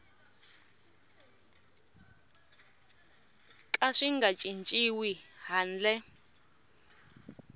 ka swi nga cinciwi handle